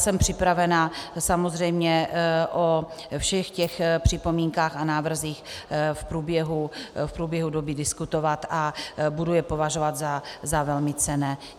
Jsem připravená samozřejmě o všech těch připomínkách a návrzích v průběhu doby diskutovat a budu je považovat za velmi cenné.